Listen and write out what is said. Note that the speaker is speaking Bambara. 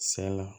Sɛ la